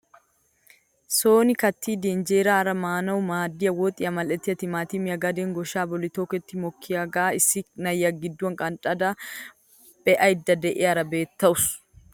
Soni kaattidi injeraara maanawu maaddiyaa woxiyaa mal"ettiyaa timaatimee gaden gooshshaa bolli toketti mokkiyaagaa issi na'iyaa gidduwaan qanxxada be'aydda de'iyaara betawus!